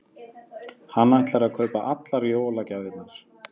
Hann ætlar að kaupa allar jólagjafirnar.